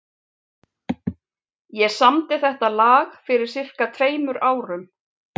Ég samdi þetta lag fyrir sirka tveimur árum.